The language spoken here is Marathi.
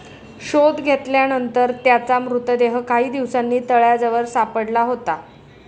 शोध घेतल्यानंतर त्याचा मृतदेह काही दिवसांनी तळ्याजवळ सापडला होता.